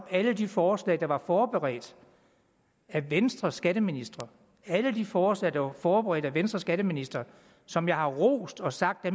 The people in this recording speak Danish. alle de forslag der var forberedt af venstres skatteministre alle de forslag der var forberedt af venstres skatteminister og som jeg har rost og sagt at